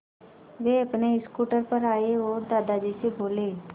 वे अपने स्कूटर पर आए और दादाजी से बोले